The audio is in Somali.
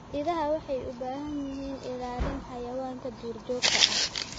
Idaha waxay u baahan yihiin ilaalin xayawaanka duurjoogta ah.